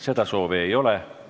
Seda soovi ei ole.